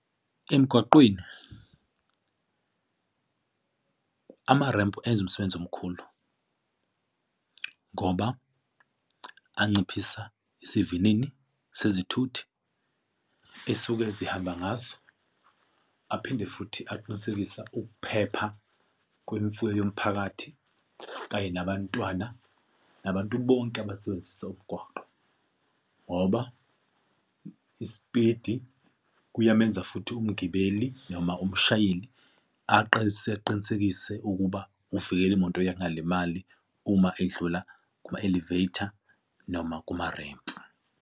Emgwaqweni amarempu enza umsebenzi omkhulu ngoba anciphisa isivinini sezithuthi esuke zihamba ngazo, aphinde futhi aqinisekisa ukuphepha kwemfuyo yomphakathi, kanye nabantwana nabantu bonke abasebenzisa umgwaqo. Ngoba isipidi kuyamenza futhi umgibeli, noma umshayeli aqe iseqinisekise ukuba uvikele imoto yangalimali uma edlula kuma-elevater noma kumarempu.